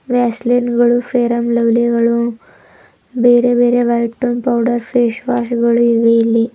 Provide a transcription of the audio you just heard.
ವ್ಯಾಸಲಿನ್ ಗಳು fair and lovely ಗಳು ಬೇರೆ ಬೇರೆ white tone powders face wash ಗಳು ಇವೆ ಇಲ್ಲಿ.